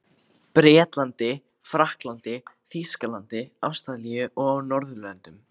Bretlandi, Frakklandi, Þýskalandi, Ástralíu og á Norðurlöndum.